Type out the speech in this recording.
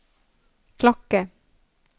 klokke